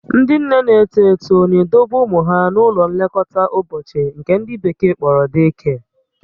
Ndị nne na-eto eto na-edobe ụmụ ha n'ụlọ nlekọta ụbọchị nke ndị bekee kpọrọ day care